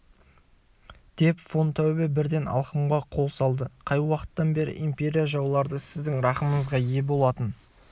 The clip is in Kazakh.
деп фон таубе бірден алқымға қол салды қай уақыттан бері империя жаулары сіздің рақымыңызға ие болатын